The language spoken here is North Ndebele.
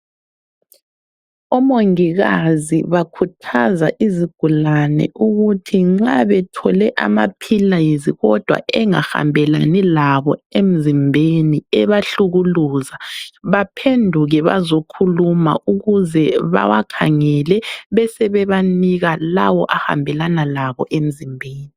Omongikazi bakhuthaza izigulane ukuthi nxa bethole amaphilizi kodwa engahambelani labo emzimbeni , ebahlukuluza, baphenduke bazokhuluma ukuze bawakhangele besebebanika lawo ahambelana labo emzimbeni.